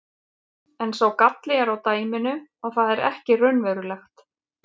En sá galli er á dæminu að það er ekki raunverulegt.